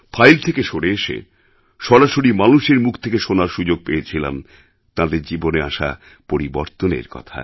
file থেকে সরে এসে সরাসরি মানুষের মুখ থেকে শোনার সুযোগ পেয়েছিলাম তাঁদের জীবনে আসা পরিবর্তনের কথা